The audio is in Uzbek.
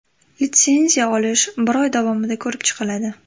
Litsenziya olish bir oy davomida ko‘rib chiqiladi.